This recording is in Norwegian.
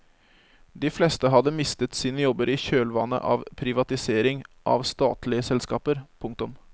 De fleste hadde mistet sine jobber i kjølvannet av privatisering av statlige selskaper. punktum